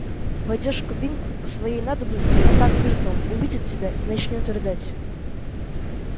войдёшь в кабинку по своей надобности а там миртл увидит тебя и начнёт рыдать